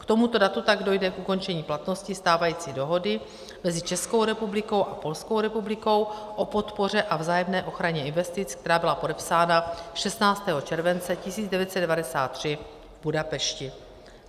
K tomuto datu tak dojde k ukončení platnosti stávající dohody mezi Českou republikou a Polskou republikou o podpoře a vzájemné ochraně investic, která byla podepsána 16. července 1993 v Budapešti.